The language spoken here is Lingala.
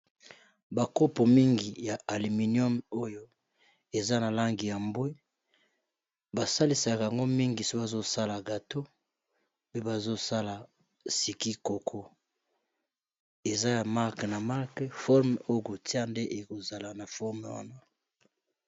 Bakopo mingi ya alluminium oyo eza na langi ya mbwe basalisaka yango mingi soki bazosala gato mpe bazosala sikikoko eza ya marke na mark forme oye kotia nde ekozala na forme wana